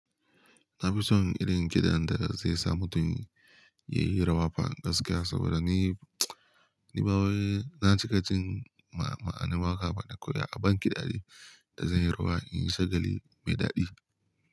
Na fi son irin kiɗan da zai sa mutum yayi rawa fa gaskiya, saboda ni nima zan cika jin ma'anar waƙa bana koyi a ban kiɗa dai da zanyi rawa in yi shagali mai daɗi.